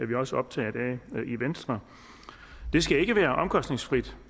vi også optaget af i venstre det skal ikke være omkostningsfrit